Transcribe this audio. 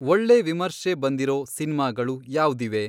ಒಳ್ಳೆ ವಿಮರ್ಶೆ ಬಂದಿರೋ ಸಿನ್ಮಾಗಳು ಯಾವ್ದಿವೆ